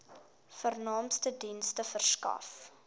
vernaamste dienste verskaf